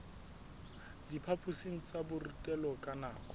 diphaphosing tsa borutelo ka nako